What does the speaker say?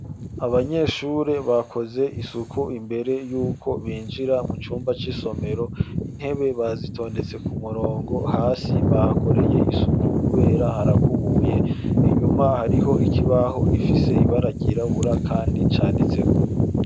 Abanyeshuri bakoze isuku imbere y'uko binjira mu cumba c'isomero . Intebe bazitondetse ku murongo hasi bakoreye isuku kubera harakubuye inyuma hariho ikibaho gifise ibara ryirabura kandi canditseko.